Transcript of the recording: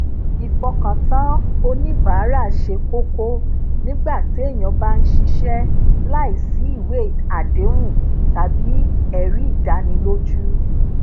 ìfokatan oníbàárà ṣe kókó nígbà téèyàn bá ń ṣiṣé láìsí ìwé àdéhùn tàbí èrí ìdánilójú